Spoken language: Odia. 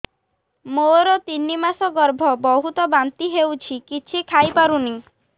ମୋର ତିନି ମାସ ଗର୍ଭ ବହୁତ ବାନ୍ତି ହେଉଛି କିଛି ଖାଇ ପାରୁନି